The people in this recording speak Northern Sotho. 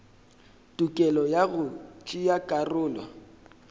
tokelo ya go tšea karolo